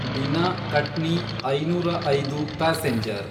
Bina Katni ೫೦೫ passenger